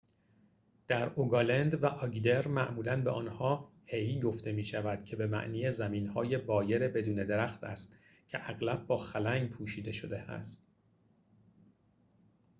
در روگالند و آگدر معمولاً به آنها hei گفته می‌شود که به معنی زمین‌های بایر ‌بدون درخت است که اغلب با خلنگ پوشیده شده است